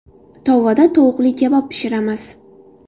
Tovada tovuqli kabob pishiramiz.